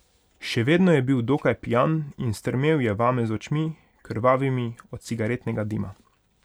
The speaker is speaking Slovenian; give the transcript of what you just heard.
Še vedno je bil dokaj pijan in strmel je vame z očmi, krvavimi od cigaretnega dima.